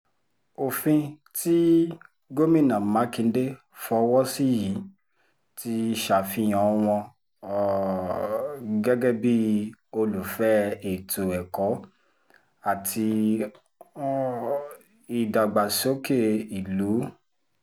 òfin tí gómìnà mákindè fọwọ́ sí yìí ti ṣàfihàn wọn um gẹ́gẹ́ bíi olùfẹ́ ètò ẹ̀kọ́ àti um ìdàgbàsókè ìlú